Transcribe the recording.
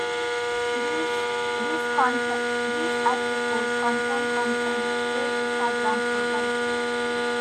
dis dis article contain con ten t wey instagram provide.